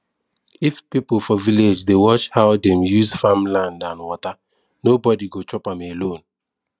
if people for village dey watch how dem use farm land and water nobody go chop am alone